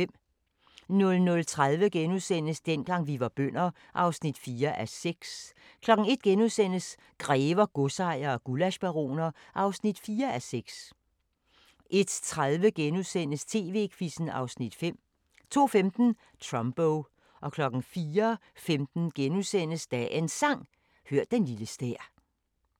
00:30: Dengang vi var bønder (4:6)* 01:00: Grever, godsejere og gullaschbaroner (4:6)* 01:30: TV-Quizzen (Afs. 5)* 02:15: Trumbo 04:15: Dagens Sang: Hør den lille stær *